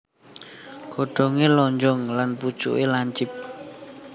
Godhongé lonjong lan pucuké lancip